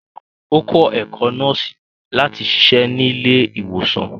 Ó kó̩ ẹ̀kó̩ nọ́ọ̀sì lati siṣe nílé ìwòsàn